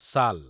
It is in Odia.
ସାଲ୍